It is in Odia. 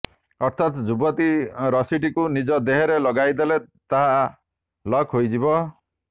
ଅର୍ଥାତ ଯୁବତୀ ରସିଟିକୁ ନିଜ ଦେହରେ ଲଗାଇଦେଲେ ତାହା ଲକ୍ ହୋଇଯିବ